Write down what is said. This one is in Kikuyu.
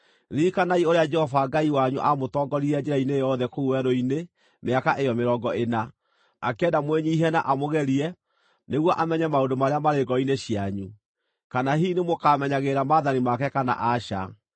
Ririkanai ũrĩa Jehova Ngai wanyu aamũtongoririe njĩra-inĩ yothe kũu werũ-inĩ mĩaka ĩyo mĩrongo ĩna, akĩenda mwĩnyiihie na amũgerie nĩguo amenye maũndũ marĩa maarĩ ngoro-inĩ cianyu, kana hihi nĩmũkamenyagĩrĩra maathani make kana aca.